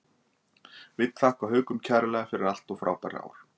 Vill þakka Haukum kærlega fyrir allt og frábær ár.